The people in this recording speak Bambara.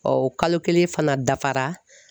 o kalo kelen fana dafara.